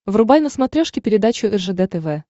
врубай на смотрешке передачу ржд тв